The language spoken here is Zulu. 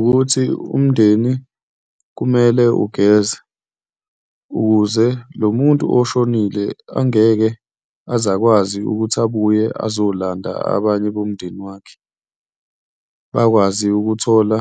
Wukuthi umndeni kumele ugeze ukuze lo muntu oshonile angeke aze akwazi ukuthi abuye azolanda abanye bomndeni wakhe, bakwazi ukuthola